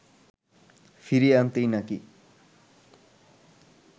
ফিরিয়ে আনতেই নাকি